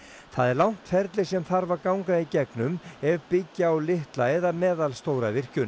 það er langt ferli sem þarf að ganga í gegnum ef byggja á litla eða meðalstóra virkjun